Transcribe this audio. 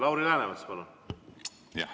Lauri Läänemets, palun!